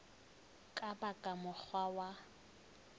ka ba ka mokgwa wa